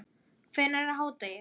Hvenær er hádegi?